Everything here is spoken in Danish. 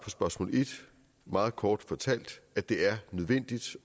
spørgsmål meget kort fortalt at det er nødvendigt